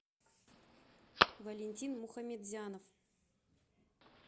валентин мухамедзянов